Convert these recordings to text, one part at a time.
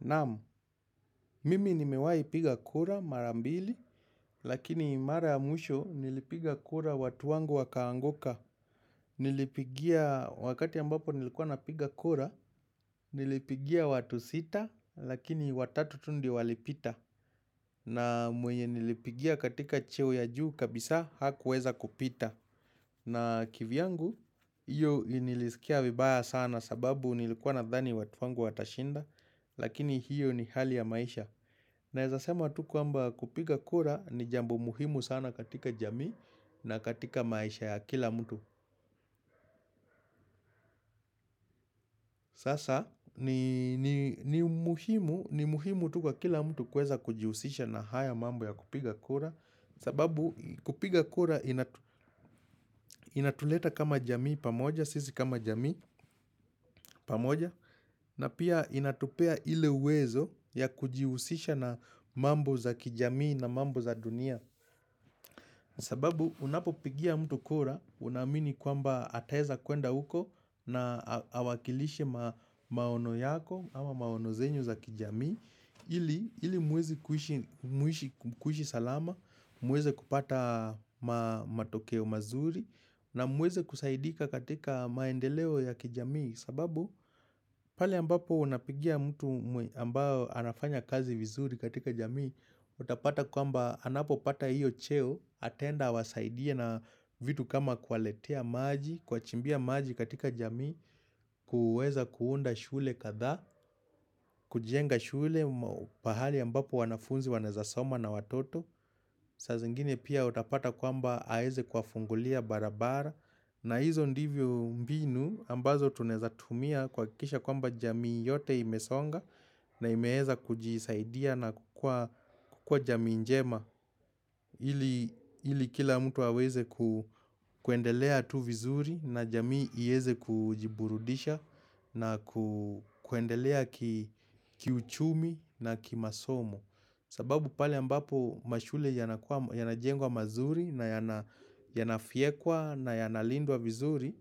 Naam, mimi nimewahi piga kura marambili, lakini mara ya mwisho nilipiga kura watu wangu wakaanguka. Nilipigia wakati ambapo nilikuwa na piga kura, niliigia watu sita, lakini watatu tu ndo walipita. Na mwenye nilipigia katika cheo ya juu kabisa hakuweza kupita. Na kivyangu, hiyo nilisikia vibaya sana sababu nilikuwa na dhani watu wangu watashinda, lakini hiyo ni hali ya maisha. Nawazasema tu kwamba kupiga kura ni jambo muhimu sana katika jamii na katika maisha ya kila mtu. Sasa ni muhimu tuku wa kila mtu kweza kujihusisha na haya mambo ya kupiga kura. Sababu kupiga kura inatuleta kama jamii pamoja, sisi kama jamii pamoja. Na pia inatupea ile uwezo ya kujihusisha na mambo za kijamii na mambo za dunia. Sababu unapo pigia mtu kura unaamini kwamba ataeza kuenda huko na awakilishe maono yako ama maono zenu za kijamii ili muweze kuhishi salama, muweze kupata matokeo mazuri na muweze kusaidika katika maendeleo ya kijamii sababu pale ambapo unapigia mtu ambayo anafanya kazi vizuri katika jamii utapata kwamba anapo pata hiyo cheo ataenda awasaidie na vitu kama kuwaletea maji kuwachimbia maji katika jamii kuweza kuunda shule kadhaa kujenga shule pahali ambapo wanafunzi wanaweza soma na watoto saa zingine pia utapata kwamba aeze kwa fungulia barabara na hizo ndivyo mbinu ambazo tunaeza tumia kuhakisha kwamba jamii yote imesonga na imeheza kujisaidia na kukua jamii njema hili kila mtu aweze ku kuendelea tu vizuri na jamii ieze kujiburudisha na kuendelea kiuchumi na ki masomo sababu pale ambapo mashule yanajengwa mazuri na yanafyekwa na yanalindwa vizuri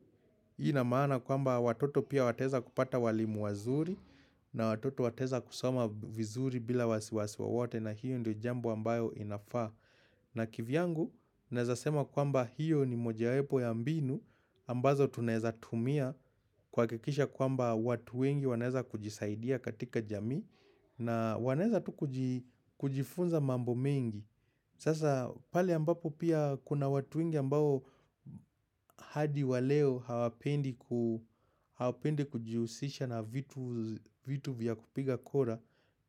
Hii na maana kwamba watoto pia wateza kupata walimu wazuri na watoto wateza kusoma vizuri bila wasiwasi wowote na hiyo ndio jambo ambayo inafaa. Na kivyangu, naeza sema kwamba hiyo ni mojawepo ya mbinu ambazo tunaweza tumia kuhakisha kwamba watu wengi waweza kujisaidia katika jamii na wanaweza tu kujifunza mambo mengi. Sasa pale ambapo pia kuna watu wengi ambao hadi wa leo hawapendi kujihusisha na vitu vya kupiga kura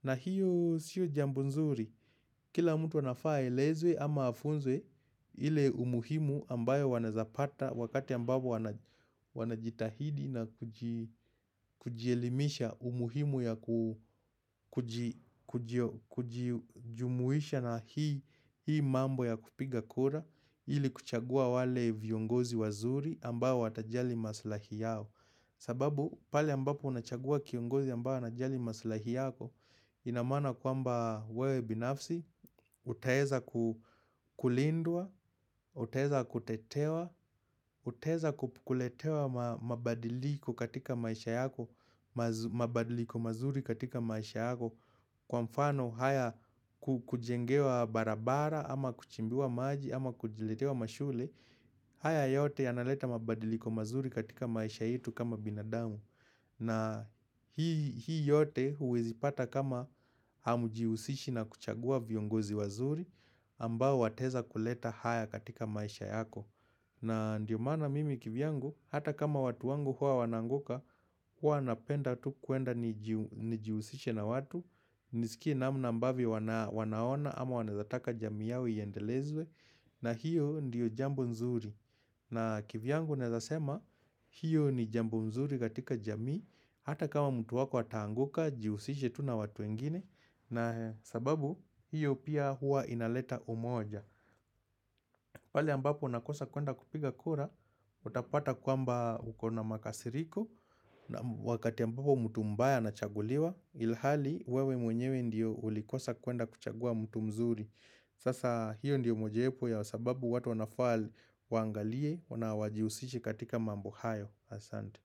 na hiyo siyo jambo nzuri. Kila mtu anafaa aelezwe ama afunzwe ile umuhimu ambayo wanazapata wakati ambapo wanajitahidi na kujielimisha umuhimu ya kujijumuisha na hii mambo ya kupiga kura ili kuchagua wale viongozi wazuri ambayo watajali maslahi yao. Sababu pale ambapo unachagua kiongozi ambao na jali masalahi yako, inamaana kwamba wewe binafsi, utaweza kulindwa, utaweza kutetewa, utaweza kuletewa mabadiliko katika maisha yako, mabadiliko mazuri katika maisha yako. Kwa mfano haya kujengewa barabara ama kuchimbiwa maji ama kujiletewa mashule haya yote yanaleta mabadiliko mazuri katika maisha yetu kama binadamu na hii yote huwezi pata kama hamujiusishi na kuchagua viongozi wazuri ambao wataweza kuleta haya katika maisha yako na ndio maana mimi kivyangu hata kama watu wangu huwa wanaanguka Huwa napenda tu kuenda nijihusishe na watu nisikie namna ambavyo wanaona ama wanawezataka jamii yao iendelezwe na hiyo ndiyo jambo nzuri na kivyangu neweza sema hiyo ni jambo mzuri katika jami Hata kama mtu wako ataanguka jihusishe tu na watu wengine na sababu hiyo pia hua inaleta umoja pale ambapo nakosa kuenda kupiga kura Utapata kwamba ukona makasiriko na wakati ambapo mtu mbaya na chaguliwa ilhali wewe mwenyewe ndiyo ulikosa kuenda kuchagua mtu mzuri sasa hiyo ndiyo moja wepo ya sababu watu wanafaa waangalie wana wajihusishi katika mambo hayo asante.